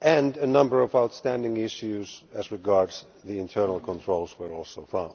and a number of outstanding issues as regards the internal controls were also found.